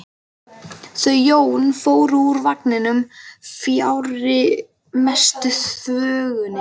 Þau Jón fóru úr vagninum fjarri mestu þvögunni.